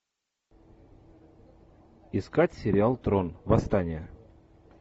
искать сериал трон восстание